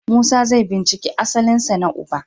Musa zai binciki asalinsa na uba.